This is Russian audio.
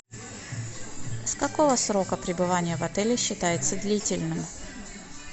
с какого срока пребывания в отеле считается длительным